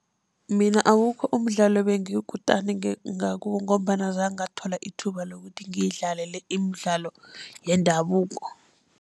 Mina awukho umdlalo ebengiyikutani ngakiwo, ngombana azange ngathola ithuba lokuthi ngiyidlale le imidlalo yendabuko.